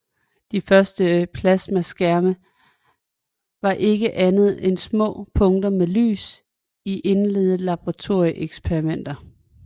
De første plasmaskærme var ikke andet end små punkter med lys i indledende laboratorieeksperimenter